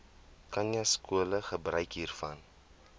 khanyaskole gebruik hiervan